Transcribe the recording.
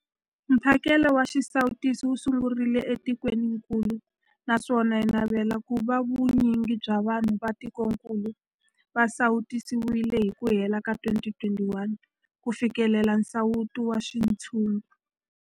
Mphakelo wa xisawutisi wu sungurile etikwenikulu naswona hi navela ku va vu nyingi bya vanhu va tikokulu va sawutisiwile hi ku hela ka 2021 ku fikelela nsawuto wa xintshungu.